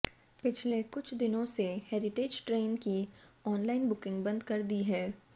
पिछले कुछ दिनों से हेरिटेज ट्रेन की ऑनलाइन बुकिंग बंद कर दी है